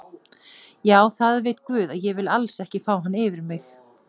Já það veit guð að ég vil alls ekki fá hann yfir mig.